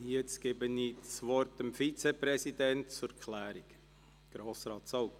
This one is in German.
Jetzt gebe ich das Wort dem Vizepräsidenten zur Klärung: Grossrat Zaugg.